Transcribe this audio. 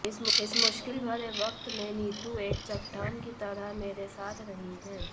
इस मुश्किल भरे वक्त में नीतू एक चट्टान की तरह मेरे साथ रही है